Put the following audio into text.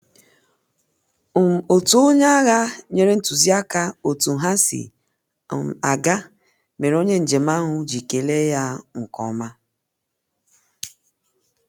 um otu onye agha nyere ntụziaka otu ha si um aga mere onye njem ahụ ji kele ya um nkeọma